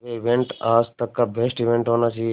ये इवेंट आज तक का बेस्ट इवेंट होना चाहिए